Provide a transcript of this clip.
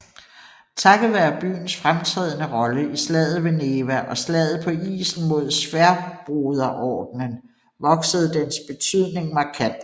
Takket være byens fremtrædende rolle i slaget ved Neva og slaget på isen mod Sværdbroderordenen voksede dens betydning markant